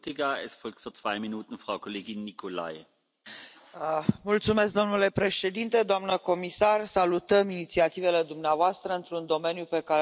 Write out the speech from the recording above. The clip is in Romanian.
Domnule președinte, doamnă comisar, salutăm inițiativele dumneavoastră într un domeniu pe care îl considerăm de viitor și deosebit de important pentru viitorul umanității.